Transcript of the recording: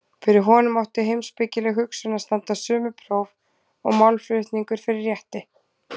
Fyrir honum átti heimspekileg hugsun að standast sömu próf og málflutningur fyrir rétti.